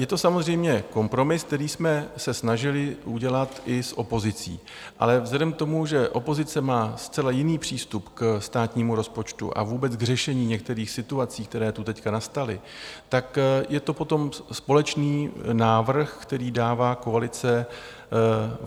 Je to samozřejmě kompromis, který jsme se snažili udělat i s opozicí, ale vzhledem k tomu, že opozice má zcela jiný přístup ke státnímu rozpočtu a vůbec k řešení některých situací, které tu teď nastaly, tak je to potom společný návrh, který dává koalice.